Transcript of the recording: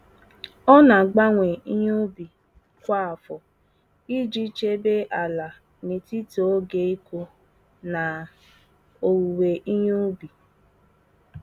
Ọ na-agbanwe ihe ubi kwa afọ iji chebe ala n'etiti oge ịkụ na owuwe ihe ubi.